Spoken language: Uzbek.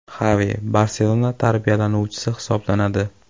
Xavi “Barselona” tarbiyalanuvchisi hisoblanadi.